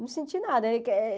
Não senti nada. Eh que eh